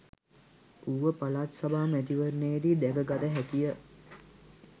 ඌව පළාත් සභා මැතිවරණයේදී දැකගත හැකිය